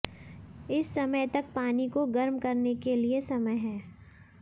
इस समय तक पानी को गर्म करने के लिए समय है